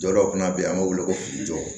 Dɔ wɛrɛ fana be yen an b'o wele kojugu